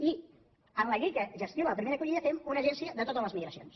i en la llei que gestiona la primera acollida fem una agència de totes les migracions